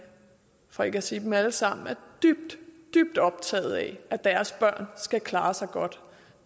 for ikke at sige dem alle sammen er dybt dybt optaget af at deres børn skal klare sig godt